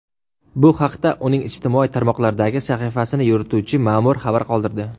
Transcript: Bu haqda uning ijtimoiy tarmoqlardagi sahifasini yurituvchi ma’mur xabar qoldirdi.